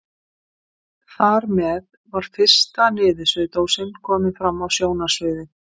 Þarmeð var fyrsta niðursuðudósin komin fram á sjónarsviðið.